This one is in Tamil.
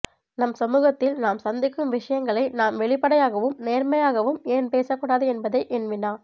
நம் சமூகத்தில் நாம் சந்திக்கும் விஷயங்களை நாம் வெளிப்படையாகவும் நேர்மையாகவும் ஏன் பேசக்கூடாது என்பதே என் வினா